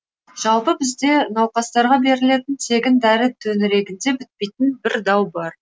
жалпы бізде науқастарға берілетін тегін дәрі төңірегінде бітпейтін бір дау бар